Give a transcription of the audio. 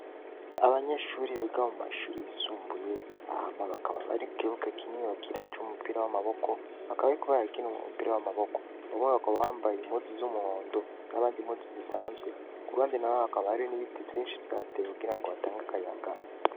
Abanyeshuri bega mu mashuri yisumbuye ama bakaba bari kukibuke kinini bakiracu wumupira w'amaboko bakabe kubarakina mu mupira w'amaboko abomo baka bambaye imozu z'umuhondo n'abandi mozi zisanzwe ku uruhandi na be hakabario n'ibiti vyinshi vyateye kugira ngo batange akayaga.